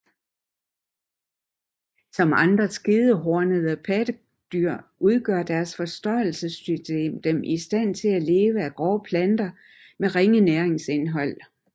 Som andre skedehornede pattedyr gør deres fordøjelsessystem dem i stand til at leve af grove planter med ringe næringsindhold